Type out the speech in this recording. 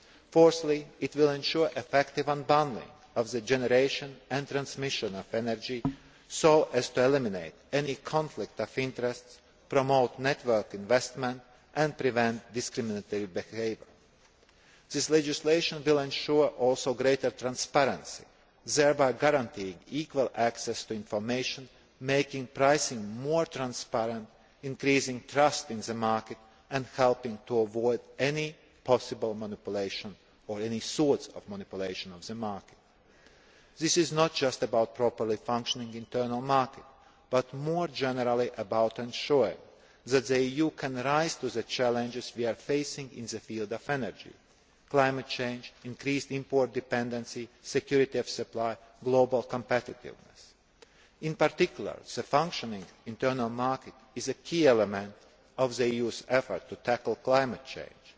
Fourthly, it will ensure effective unbundling of the generation and transmission of energy so as to eliminate any conflict of interests, promote network investment and prevent discriminatory behaviour. This legislation will also ensure greater transparency, thereby guaranteeing equal access to information, making pricing more transparent, increasing trust in the market, and helping to avoid any possible manipulation or any sort of manipulation of the market. This is not just about a properly functioning internal market but more generally about ensuring that the EU can rise to the challenges we are facing in the field of energy climate change, increased import dependency, security of supply, global competitiveness. In particular, a functioning internal market is a key element of the EU's effort to tackle climate